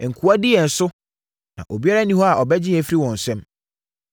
Nkoa di yɛn so, na obiara nni hɔ a ɔbɛgye yɛn afiri wɔn nsam.